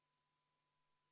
V a h e a e g